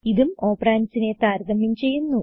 ഇതും ഓപ്പറണ്ട്സ് നെ താരതമ്യം ചെയ്യുന്നു